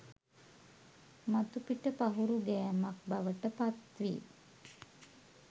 මතුපිට පහුරු ගෑමක් බවට පත් වේ